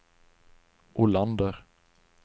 Olander